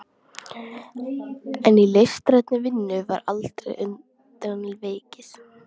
En í listrænni vinnu var aldrei undan vikið.